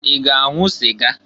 I ga-anwụ sịga?